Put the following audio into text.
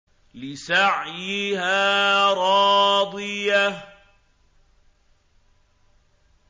لِّسَعْيِهَا رَاضِيَةٌ